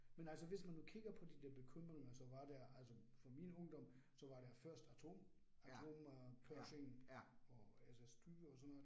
Men altså hvis man nu kigger på de der bekymringer så var der altså fra min ungdom, så var der først atom atomkrisen og altså skyer og sådan noget